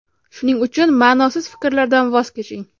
Shuning uchun ma’nosiz fikrlardan voz keching.